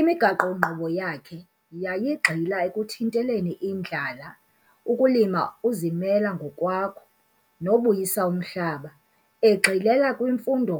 imigaqo-nkqubo yakhe yayi gxila ekuthinteleni indlala ukulima uzimele ngokwakho, nobuyisa umhlaba, egxilela kwimfundo